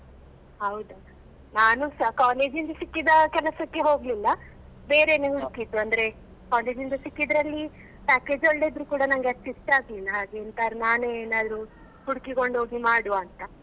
ಹೌದಾ ನಾನುಸ college ಇಂದ ಸಿಕ್ಕಿದ ಕೆಲಸಕ್ಕೆ ಹೋಗ್ಲಿಲ್ಲ ಬೇರೆನೇ ಹುಡುಕಿದ್ದು ಅಂದ್ರೆ college ಇಂದ ಸಿಕ್ಕಿದ್ರೆ ಅಲ್ಲಿ package ಒಳ್ಳೆ ಇದ್ರೂ ಕೂಡ ನಂಗೆ ಅಷ್ಟು ಇಷ್ಟ ಆಗ್ಲಿಲ್ಲ ಹಾಗೆ ಎಂತಾದ್ರೂ ನಾನೆ ಏನಾದ್ರು ಹುಡುಕಿಕೊಂಡು ಹೋಗಿ ಮಾಡುವ ಅಂತ.